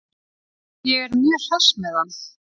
Ég er mjög hress með hann.